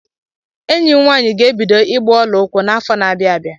Enyi m nwaanyị ga-ebido ịgba ọla ụkwụ n'afọ n'abia abịa.